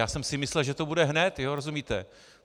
Já jsem si myslel, že to bude hned, rozumíte.